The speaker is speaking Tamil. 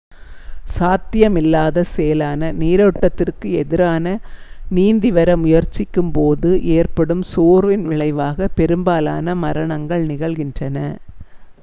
சாத்தியமில்லாத செயலான நீரோட்டத்திற்கு எதிராக நீந்தி வர முயற்சிக்கும் போது ஏற்படும் சோர்வின் விளைவாக பெரும்பாலான மரணங்கள் நிகழ்கின்றன